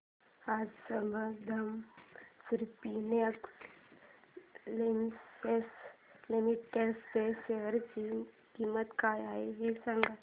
आज Sambandam spinning mills limited च्या share ची किंमत काय आहे हे सांगा